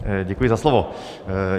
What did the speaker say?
Děkuji za slovo.